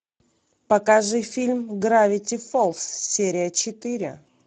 покажи фильм гравити фолз серия четыре